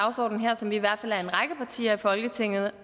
dagsorden her som vi i hvert fald er en række partier i folketinget